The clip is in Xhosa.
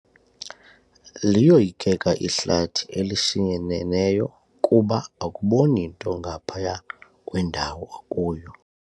Liyoyikeka ihlathi elishinyeneneyo kuba akuboni nto ngaphaya kwendawo okuyo.